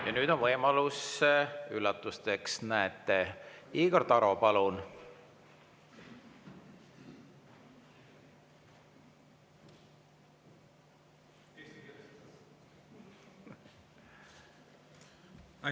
Ja nüüd on võimalus üllatusteks: näete, Igor Taro, palun!